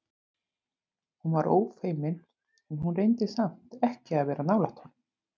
Hún var ófeimin en hún reyndi samt ekki að vera nálægt honum.